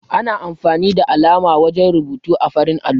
Ana amfani da alama wajen rubutu ã farin allo.